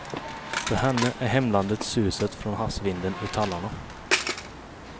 För henne är hemlandet suset från havsvinden i tallarna.